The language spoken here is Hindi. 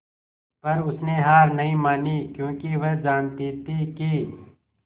पर उसने हार नहीं मानी क्योंकि वह जानती थी कि